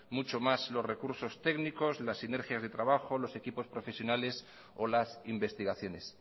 mucho más los recursos técnicos las sinergias de trabajo lo equipos profesionales o las investigaciones